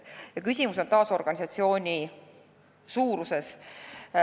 Ja küsimus on taas organisatsiooni suuruses.